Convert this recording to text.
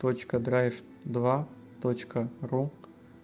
точка драйв два точка ру